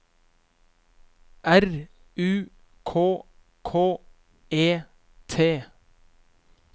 R U K K E T